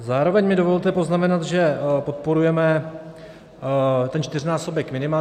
Zároveň mi dovolte poznamenat, že podporujeme ten čtyřnásobek minima.